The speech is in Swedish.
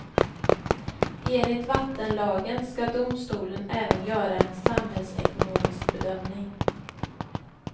Enligt vattenlagen ska domstolen även göra en samhällsekonomisk bedömning.